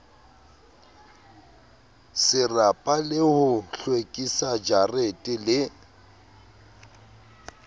serapa le ho hlwekisajarete le